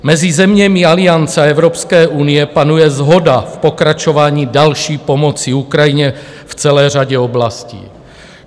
Mezi zeměmi Aliance a Evropské unie panuje shoda v pokračování další pomoci Ukrajině v celé řadě oblastí.